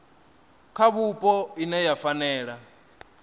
kha vhupo ine ya fanela